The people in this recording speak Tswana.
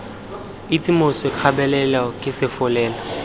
itse moswi kgabele ke solofela